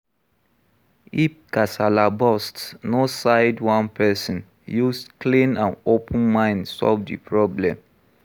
If kasala burst, no side one person, use clean and open mind solve di problem